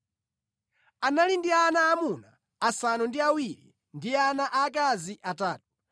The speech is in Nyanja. Anali ndi ana aamuna asanu ndi awiri ndi ana aakazi atatu,